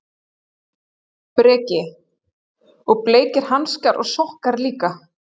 Breki: Og bleikir hanskar og sokkar líka?